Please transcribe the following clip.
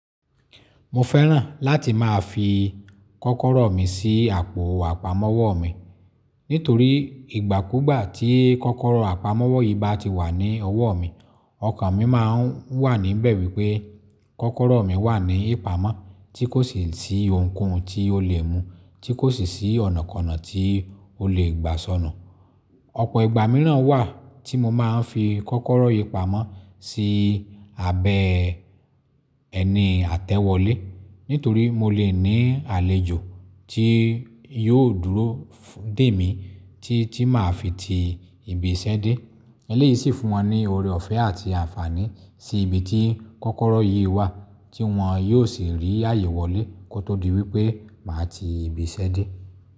Mo fẹ́ràn láti máa fi kọ́kọ́rọ́ mi sí àpò àpamọ́wọ́ mi nítorí ìgbàkúgbà tí kọ́kọ́rọ́ àpamọ́wọ́ yìí bá ti wà ní ọwọ́ mi, ọkàn mi má ń wà níbẹ̀ wípé kọ́kọ́rọ́ mi wà ní ìpamọ́ tí kò sì sí ohunkóhun tí ó lè mú, tí kò sì sí ọ̀nàkọnà tí ó lè gbà sọnu. Ọ̀pọ̀ ìgbà mìíràn wà tí mo máa ń fi kọ́kọ́rọ́ yìí pamọ́ sí abẹ́ ẹni àtẹ́wọlé, nítorí mo lè ní àlejò tí yóò dúró dè mí tí tí máa fi ti ìbí iṣẹ́ dé. Eléyìí sì fún wọn ní ọrẹ ọ̀fẹ́ àti àǹfààní sí ibi tí kọ́kọ́rọ́ yìí wà tí wọ́n yóò sì rí àyè wòlé kó tó di wípé máa ti ìbí ise dé.